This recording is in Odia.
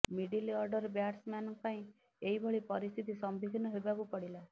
ମିଡିଲ ଅର୍ଡର ବ୍ୟାଟ୍ସମ୍ୟାନଙ୍କ ପାଇଁ ଏହିଭଳି ପରିସ୍ଥିତି ସମ୍ମୁଖୀନ ହେବାକୁ ପଡ଼ିଲା